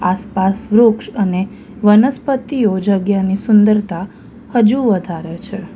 આસપાસ વૃક્ષ અને વનસ્પતિઓ જગ્યાની સુંદરતા હજુ વધારે છે.